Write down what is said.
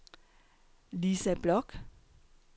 Lisa Bloch